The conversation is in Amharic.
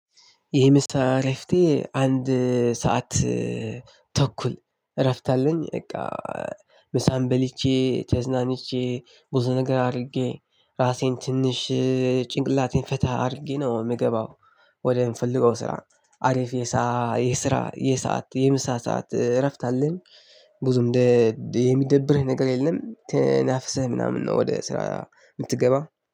የምሳ እረፍቴ አንድ ሰዓት ተኩል እረፍት አለኝ። በቃ ምሳም በልቼ ተዝናንቼ ብዙ ነገር አርጌ ራሴን ትንሽ ጭንቅላቴን ፈታ አድርጌ ነው ምገባው። ወደ ምንፈልገው ስራ አሪፍ የሳ የስራ የሰዓት የምሳ ሰዓት እረፍት አለን። ብዙ እንደ የሚደብረኝ ነገር የለም ተናፍሰ ምናምን ነው። ወደ ስራ ምትገባው